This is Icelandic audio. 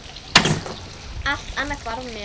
Allt annað hvarf mér.